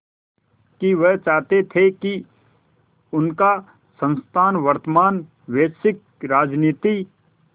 कि वह चाहते थे कि उनका संस्थान वर्तमान वैश्विक राजनीति